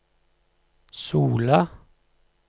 Sola